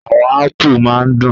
Àwọn ápù máa ń dùn.